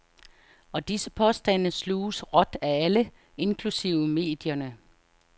Og disse påstande sluges råt af alle, inklusive medierne.